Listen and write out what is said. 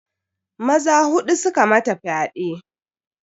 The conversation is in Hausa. Maza huɗu suka mata fyaɗe.